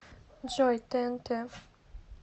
джой тээнтэ